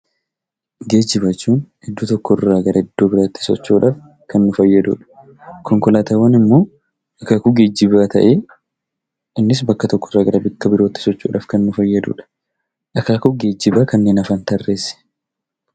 Geejjiba jechuun iddoo tokko irraa gara iddoo biraatti socho'uudhaaf nu fayyadudha. Konkolaataawwan immoo akaakuu geejjibaa ta'ee, innis bakka tokko irraa bakka biraatti socho'udhaaf kan nu fayyadudha. Akaakuu Geejjibaa kanneen hafan tarreessi!